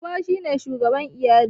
Uba shi ne shugaban iyali.